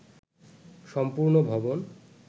সম্পূর্ণ ভবন